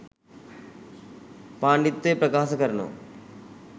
පාණ්ඩිත්වය ප්‍රකාස කරනවා